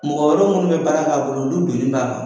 Mɔgɔ wɛrɛ munnu bɛ baara k'a bolo n'u bilen do a kan